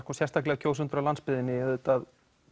sérstaklega kjósendur á landsbyggðinni